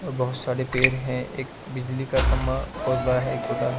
और बहुत सारे पेड़ है एक बिजली का बहोत बड़ा है एक छोटा है।